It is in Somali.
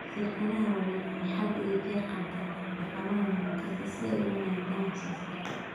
Shirkadaha waaweyn waxay had iyo jeer qaataan dhaqamada monoculture si ay u wanaajiyaan wax soo saarka.